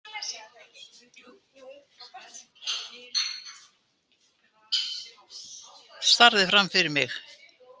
Starði fram fyrir mig.